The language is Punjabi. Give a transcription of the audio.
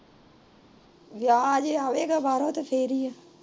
ਵਿਆਹ ਅਜੇ ਆਵੇਗਾ ਬਾਹਰੋਂ ਫੇਰ ਈ ਏ